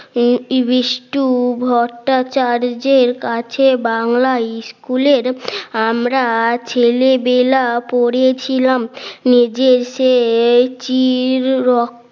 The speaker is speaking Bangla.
এই বিষ্টু ভট্টাচার্যের কাছে বাংলা ইস্কুলের আমরা ছেলেবেলা পড়েছিলাম নিজের চেয়ে চির